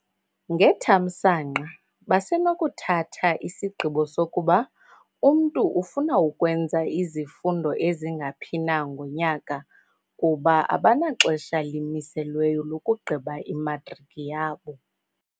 "Ngethamsanqa, basenokuthatha isigqibo sokuba umntu ufuna ukwenza izifundo ezingaphi na ngonyaka kuba abanaxesha limiselweyo lokugqiba imatriki yabo."